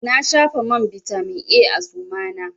Na shafa man bitamin A a suma na.